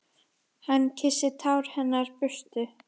Hann kyssir tár hennar burtu.